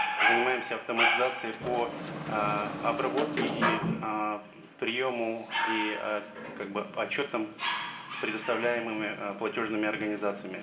занимаемся автоматизацией по ыыы обработке и ыыы приему и ыыы как бы по отчетам предоставляемыми ы платежными организациями